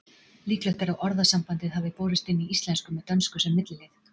Líklegt er að orðasambandið hafi borist inn í íslensku með dönsku sem millilið.